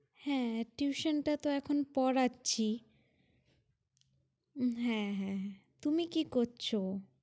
হ্যাঁ attribution টাতো এখন পড়াচ্ছি, হ্যাঁ হ্যাঁ তুমি কি করছো?